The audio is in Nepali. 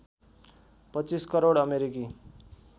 २५ करोड अमेरिकी